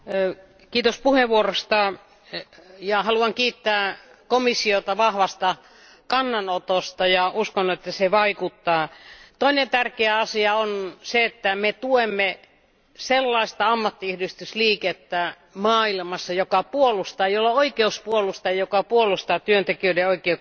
Arvoisa puhemies, haluan kiittää komissiota vahvasta kannanotosta ja uskon että se vaikuttaa. Toinen tärkeä asia on se, että me tuemme sellaista ammattiyhdistysliikettä maailmassa, joka puolustaa ja jolla on oikeus puolustaa työntekijöiden oikeuksia.